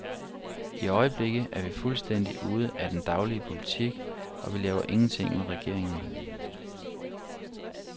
I øjeblikket er vi fuldstændig ude af den daglige politik, og vi laver ingenting med regeringen.